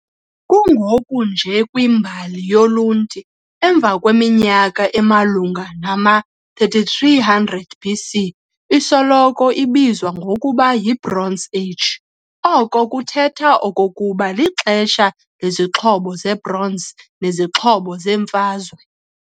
Kungoku nje kwimbali yolunti, emva kweminyaka emalunga nama-3300 BC isoloko ibizwa ngokuba yi-Bronze Age, oko kuthetha okokuba lixesha lezixhobo ze-bronze nezixhobo zemfazwe.